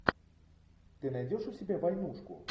ты найдешь у себя войнушку